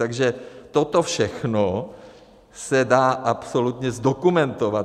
Takže toto všechno se dá absolutně zdokumentovat.